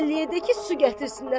Əlliyə də ki, su gətirsinlər.